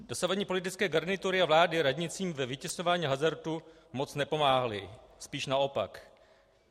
Dosavadní politické garnitury a vlády radnicím ve vytěsňování hazardu moc nepomáhaly, spíš naopak.